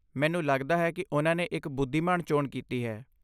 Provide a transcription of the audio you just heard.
ਮੈਨੂੰ ਲਗਦਾ ਹੈ ਕਿ ਉਨ੍ਹਾਂ ਨੇ ਇੱਕ ਬੁੱਧੀਮਾਨ ਚੋਣ ਕੀਤੀ ਹੈ।